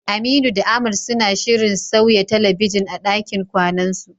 Aminu da Ahmad suna shirin sauya talabijin a ɗakin kwanansu.